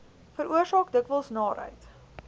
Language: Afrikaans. veroorsaak dikwels naarheid